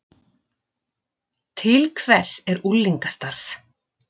Til hvers er unglingastarf